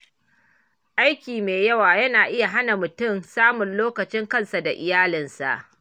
Aiki mai yawa yana iya hana mutum samun lokacin kansa da iyalinsa.